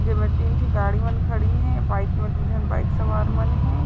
जेमे तीन ठी गाड़ी मन खड़ीन है बाइक में दो झन बाइक सवारमन खड़ी हे।